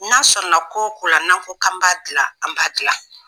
N'a sɔrɔla ko o ko la n'an ko k'an b'a dilan an b'a dilan